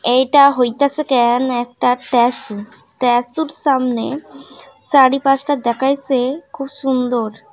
এইটা হইতাছে ক্যান একটা স্ট্যাচু স্ট্যাচু সামনে চারপাশটা দেখাইসে খুব সুন্দর ।